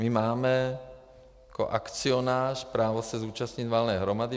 My máme jako akcionář právo se zúčastnit valné hromady.